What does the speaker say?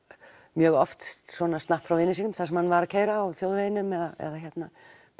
mjög oft svona frá vini sínum þar sem hann var að keyra á þjóðveginum eða hérna